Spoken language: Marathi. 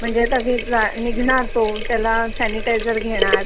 म्हणजे आता निघणार तो त्याला सनिटईजेर घेणार